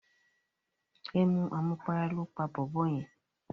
Emu àmupara lóó pa bòbó yen.